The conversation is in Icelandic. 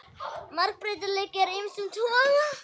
Margbreytileiki er af ýmsum toga.